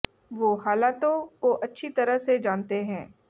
वो हालातों को अच्छी तरह से जानते हैं